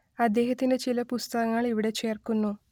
അദ്ദേഹത്തിന്റെ ചില പുസ്തകങ്ങൾ ഇവിടെ ചേർക്കുന്നു